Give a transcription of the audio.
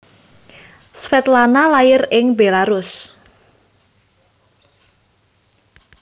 Svetlana lair ing Bélarus